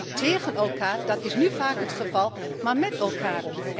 Dus niet tegen elkaar dat is nu vaak het geval maar met elkaar.